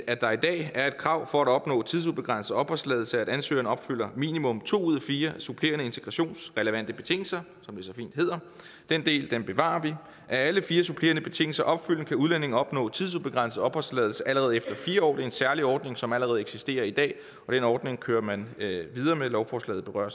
at der i dag er et krav for at opnå tidsubegrænset opholdstilladelse om at ansøgeren opfylder minimum to ud af fire supplerende integrationsrelevante betingelser som det så fint hedder den del bevarer vi er alle fire supplerende betingelser opfyldt kan udlændingen opnå tidsubegrænset opholdstilladelse allerede efter fire år det er en særlig ordning som allerede eksisterer i dag og den ordning kører man videre med lovforslaget berører